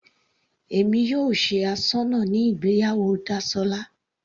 Èmi yóò ṣe asọ́nà ní ìgbéyàwó Dasola.